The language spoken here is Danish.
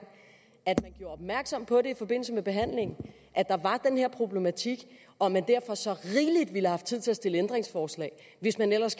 at der i opmærksom på at der var den her problematik og at man derfor så rigeligt ville have haft tid til at stille ændringsforslag hvis man ellers